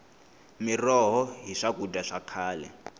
miroho hi swakudya swa khale